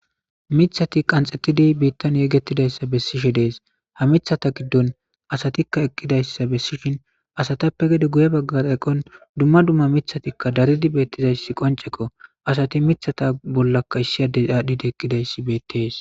Miththathi qanxeththidi biiththan yegeththidayssa bessishe de7ees; ha miththatha giddon asathikka eqqidayssa bessishin asathappe gede guye baggara eqon dumma dumma miththathikka daridi beeththidayssi qonccekko; asathi miththatha bollakka issi adde aadhdhidi eqqidayssi beeththees.